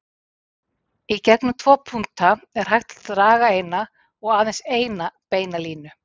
Í gegnum tvo punkta er hægt að draga eina og aðeins eina beina línu.